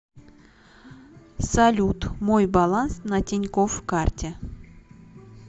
салют мой баланс на тинькофф карте